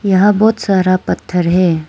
यहां बहुत सारा पत्थर है।